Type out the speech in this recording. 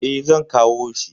E, zan kawo shi.